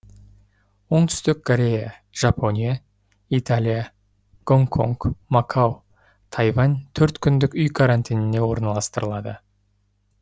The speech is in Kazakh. оңтүстік корея жапония италия гонконг макао тайвань төрт күндік үй карантиніне орналастырылады